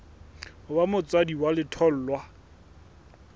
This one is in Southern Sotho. ho ba motswadi wa letholwa